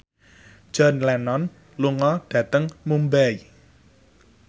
John Lennon lunga dhateng Mumbai